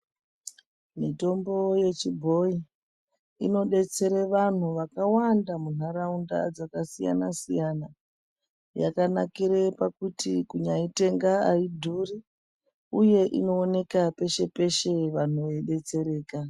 Mitombo yechibhoyi inodetsere vanhu vakawanda munharaunda dzakasiyana siyana yakanakire kuti kunyaitenga aidhuri uye inooneka peshe peshe vanhu veidetsereka.